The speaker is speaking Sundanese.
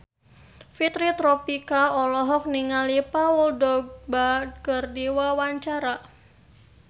Fitri Tropika olohok ningali Paul Dogba keur diwawancara